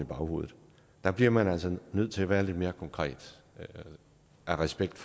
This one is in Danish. baghovedet der bliver man altså nødt til at være lidt mere konkret af respekt